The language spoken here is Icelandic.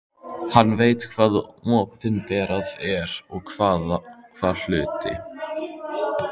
Hann veit hvað opinberað er og hvað hulið.